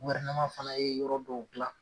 fana ye yɔrɔ dɔw gilan